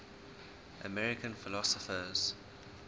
american philosophers